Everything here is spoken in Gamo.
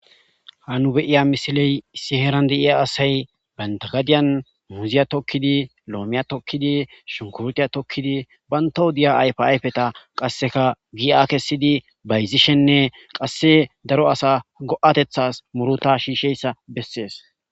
Ha nu beiya misiley issi heran deiya asay bantagadiyan muziya tokkidi loomiya tokkidi shunkurtiya tokkidi banta hudiya ayf ayfeta qasseka gi a kessidi bayzishenne qasse daro asa go'atethas muruta shiisheyssa bessees